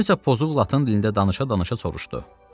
Kimsə pozuq latın dilində danışa-danışa soruşdu.